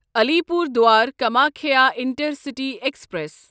Alipurduar Kamakhya intercity express